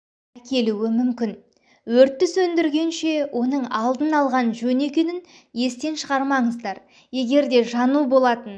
әкелуі мүмкін өртті сөндіргенше оның алдын алған жөн екенін естен шығармаңыздар егер де жану болатын